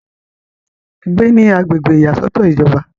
gbé ní agbègbè ìyàsọ́tọ̀ ìjọba